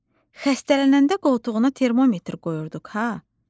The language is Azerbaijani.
“Quzum, xəstələnəndə qoltuğuna termometr qoyurduq, ha?”